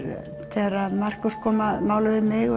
þegar Markús kom að máli við mig